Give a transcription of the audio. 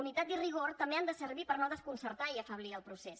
unitat i rigor també han de servir per no desconcertar i afeblir el procés